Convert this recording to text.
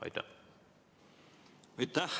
Aitäh!